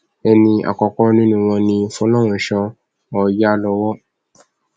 ẹni àkọkọ nínú wọn ni fọlọrunṣọ ọyálọwọ